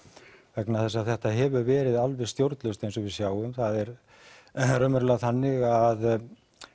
vegna þess að þetta hefur verið alveg stjórnlaust eins og við sjáum það er raunverulega þannig að